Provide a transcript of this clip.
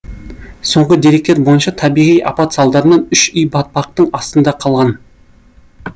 соңғы деректер бойынша табиғи апат салдарынан үш үй батпақтың астында қалған